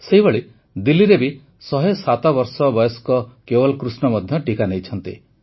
ସେହିଭଳି ଦିଲ୍ଲୀରେ ବି ୧୦୭ ବର୍ଷ ବୟସ୍କ କେୱଲ୍ କୃଷ୍ଣ ମଧ୍ୟ ଟିକା ନେଇଛନ୍ତି